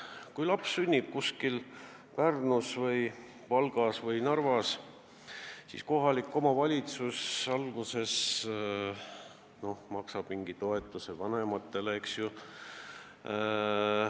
Kui laps sünnib Pärnus või Valgas või Narvas, siis kohalik omavalitsus maksab tema vanematele mingi toetuse, eks ju.